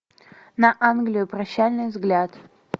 на англию прощальный взгляд